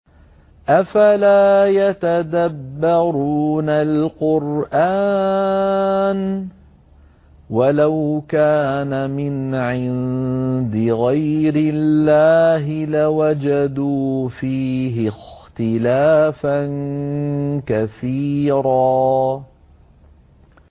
أَفَلَا يَتَدَبَّرُونَ الْقُرْآنَ ۚ وَلَوْ كَانَ مِنْ عِندِ غَيْرِ اللَّهِ لَوَجَدُوا فِيهِ اخْتِلَافًا كَثِيرًا